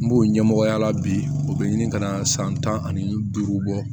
N b'o ɲɛmɔgɔya la bi o bɛ ɲini ka na san tan ani duuru bɔ